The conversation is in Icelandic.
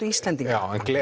Íslendinga